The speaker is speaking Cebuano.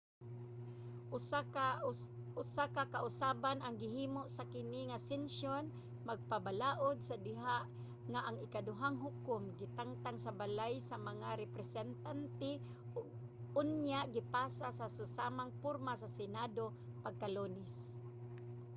usa ka kausaban ang gihimo sa kini nga sesyon sa magbabalaod sa diha nga ang ikaduhang hukom gitangtang sa balay sa mga representante ug unya gipasa sa susamang porma sa senado pagka-lunes